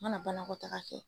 N mana banakɔtaga kɛ